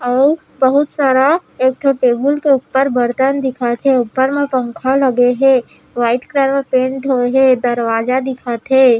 अऊ बहुत सारा एक ठो टेबल के ऊपर बर्तन दिखत हे ऊपर मे पंखा लगे हे वाइट कलर पेंट होय हे दरवाजा दिखत हे।